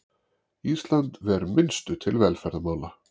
Ísland ver minnstu til velferðarmála